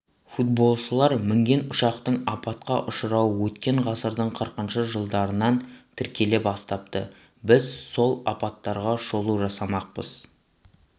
футболшылар мінген ұшақтың апатқа ұшырауы өткен ғасырдың қырқыншы жылдарынан тіркеле бастапты біз сол апаттарға шолу жасамақпыз